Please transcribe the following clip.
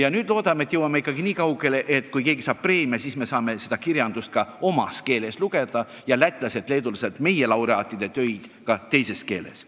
" Aga nüüd loodame, et jõuame nii kaugele, et kui keegi Lätist või Leedust saab preemia, siis saame seda kirjandust ka omas keeles lugeda ja lätlased-leedulased meie laureaatide töid oma keeles.